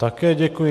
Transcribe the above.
Také děkuji.